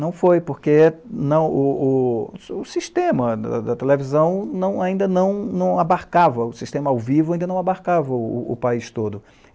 Não foi, porque o sistema da televisão ainda não abarcava, o sistema ao vivo ainda não abarcava o país todo.